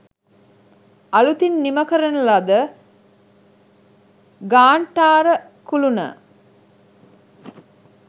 අලූතින් නිම කරන ලද ඝාණ්ඨාර කුලුන